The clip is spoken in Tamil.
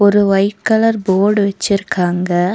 ஒரு ஒயிட் கலர் போடு வெச்சுருக்காங்க.